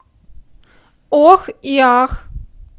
ох и ах